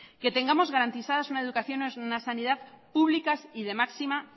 que tengamos garantizadas una educación o una sanidad públicas y de máxima